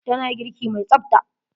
Tana girki mai tsafta.